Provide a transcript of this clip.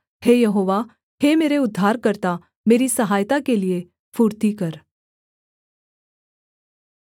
हे यहोवा हे मेरे उद्धारकर्ता मेरी सहायता के लिये फुर्ती कर